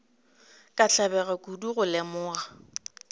ka tlabega kudu go lemoga